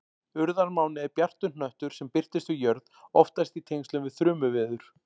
Urðarmáni er bjartur hnöttur sem birtist við jörð, oftast í tengslum við þrumuveður.